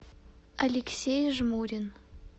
алексей жмурин